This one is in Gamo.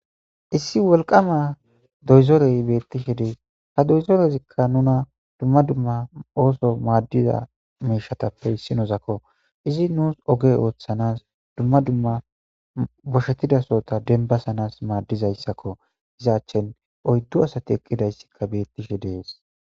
Issi wolqama doyzorey beettishe dee ha doyzorezikka nuna dumma dumma ooso maaddiza meshatappe issinozakko izi nuus oge ooththanas dumma dumma boshetidasota denbasanas maaddizayssakko izaachen oyddu asati eqqidayssikka beettishe dees.